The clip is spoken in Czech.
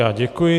Já děkuji.